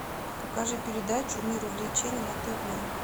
покажи передачу мир увлечений на тв